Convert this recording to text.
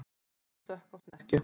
Hvalur stökk á snekkju